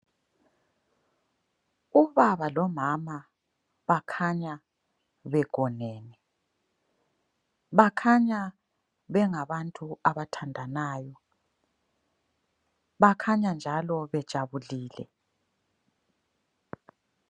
Ubaba lomama bakhanya begonene, bakhanya bengabantu abathandanayo bakhanya njalo bejabulile.